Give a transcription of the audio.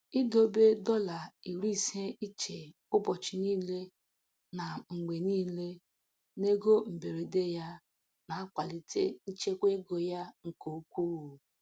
Idobe dọla iri ise iche ụbọchị niile na mgbe niile n'ego mberede ya na-akwalite nchekwa ego ya nke ukwuu.